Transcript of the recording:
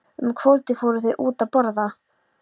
Um kvöldið fóru þau út að borða.